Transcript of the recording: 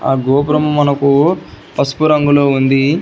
ఆ గోపురం మనకు పసుపు రంగులో ఉంది.